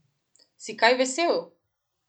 Si kaj vesel?